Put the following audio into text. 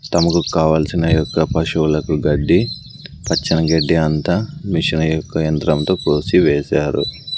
తమకు కావల్సిన పశువులకు గడ్డి పచ్చని గడ్డి అంతా మిషను యొక్క యంత్రంతో కోసి వేశారు.